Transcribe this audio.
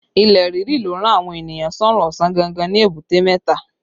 Ilẹ̀ ríri ló rán àwọn ènìyàn sọ́rún ọ̀sán gangan ní Èbúté mẹ́ta